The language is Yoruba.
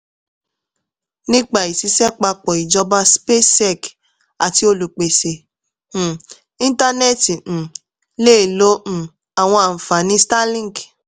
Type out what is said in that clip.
nípa ìṣiṣẹ́ papọ̀ ìjọba spacex àti olúpésé um ìntánẹ́ti um lè lo um àwọn ànfàní starlink